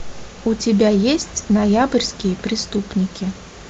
у тебя есть ноябрьские преступники